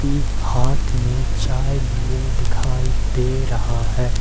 ये हाथ में चाय लिए दिखाई दे रहा है।